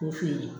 K'o feere